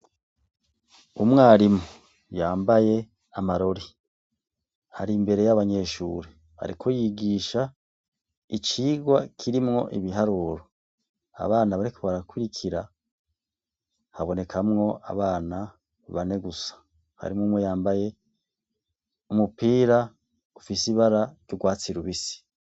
Umwarimu yambaye amarori ari imbere y'abanyeshuri ariko yigisha icigwa kirimwo ibiharuro, abana bariko barakurikira habonekamwo abana bane gusa, harimwo umwe yambaye umupira ufise ibara ry'urwatsi rubisi.